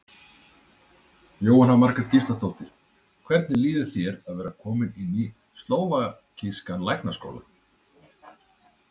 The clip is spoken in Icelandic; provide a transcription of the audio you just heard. Jóhanna Margrét Gísladóttir: Hvernig líður þér að vera kominn inn í slóvakískan læknaskóla?